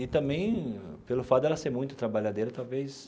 E também, pelo fato dela ser muito trabalhadeira, talvez...